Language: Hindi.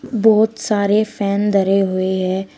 बहोत सारे फैन धरे हुए है।